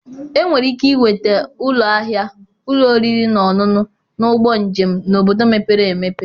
Enwere ike ịnweta ụlọ ahịa, ụlọ oriri na ọṅụṅụ, na ụgbọ njem n'obodo mepere emepe.